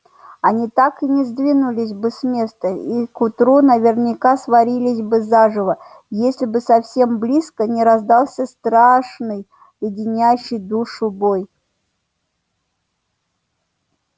они так и не сдвинулись бы с места и к утру наверняка сварились бы заживо если бы совсем близко не раздался страшный леденящий душу вой